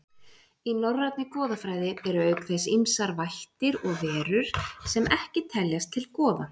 Í norrænni goðafræði eru auk þess ýmsir vættir og verur sem ekki teljast til goða.